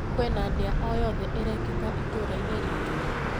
Kwĩna ndĩa o yothe ĩrekĩka itũra-inĩ ritũ?